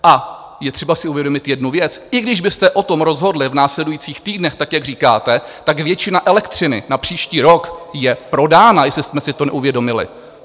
A je třeba si uvědomit jednu věc: i když byste o tom rozhodli v následujících týdnech, tak jak říkáte, tak většina elektřiny na příští rok je prodána, jestli jsme si to neuvědomili.